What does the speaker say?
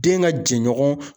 Den ka jɛɲɔgɔn.